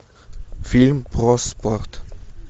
фильм про спорт